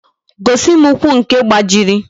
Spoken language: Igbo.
Gosi m ụkwụ nke gbajiri